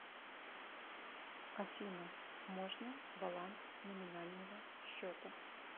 афина можно баланс номинального счета